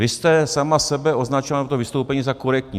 Vy jste sama sebe označila v tom vystoupení za korektní.